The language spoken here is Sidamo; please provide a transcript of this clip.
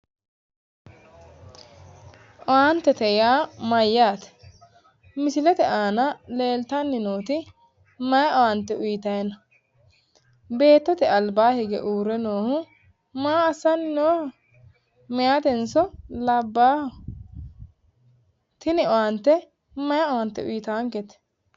Owaantete yaa mayyaate? Misilete aana leeltanni nooti mayi owaante uyiitayi no? Beettote albaa hige uurre noohu maa assanni nooho? Mahaatenso labbaaho? Tini owaane mayi owaante uyiitaankete?